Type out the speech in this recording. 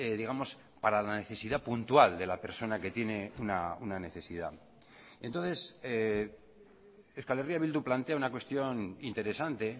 digamos para la necesidad puntual de la persona que tiene una necesidad entonces euskal herria bildu plantea una cuestión interesante